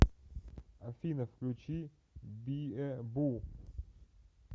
афина включи биэ бу